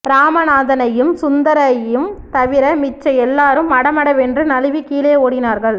ராமநாதனையும் சுந்தரையும் தவிர மிச்ச எல்லாரும் மடமடவென்று நழுவிக் கீழே ஓடினார்கள்